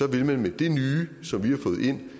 vil man med det nye som vi har fået ind